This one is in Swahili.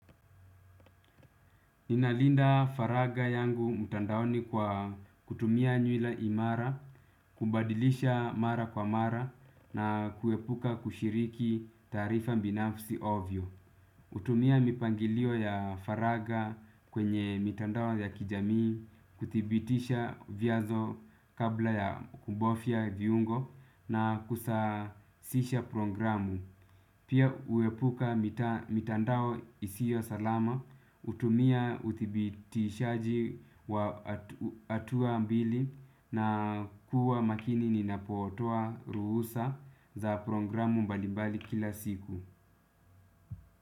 Ninalinda faraga yangu mtandaoni kwa kutumia nyuila imara, kubadilisha mara kwa mara na kuepuka kushiriki taarifa binafsi ovyo. Hutumia mipangilio ya faraga kwenye mitandao ya kijamii, kuthibitisha vyazo kabla ya kubofya viungo na kusasisha programu. Pia huepuka mitandao isio salama, hutumia uthibitishaji wa hatua mbili na kuwa makini ninapotoa ruhusa za programu mbalimbali kila siku.